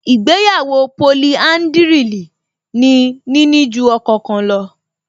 Ìgbéyàwó polihádrìlì ni níní ju ọkọ kan lọ